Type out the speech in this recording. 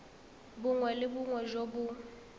bongwe le bongwe jo bo